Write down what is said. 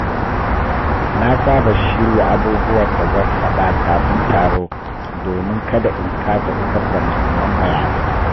Na saba shirya abubuwan da zan faɗa kafin taro domin kada in kasa isar da mahimman bayanai.